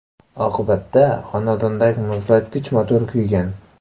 Oqibatda xonadonidagi muzlatgich motori kuygan.